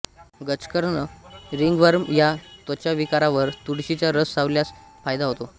गजकर्ण ringworm या त्वचाविकारावर तुळशीचा रस लावल्यास फायदा होतो